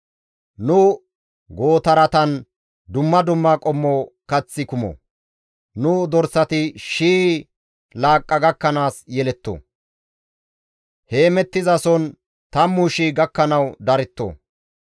Nu gootaratan dumma dumma qommo kaththi kumo; nu dorsati shii laaqqa gakkanaas yeletto; heemettizason tammu shii gakkanawu daretto.